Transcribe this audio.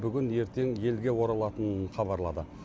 бүгін ертең елге оралатынын хабарлады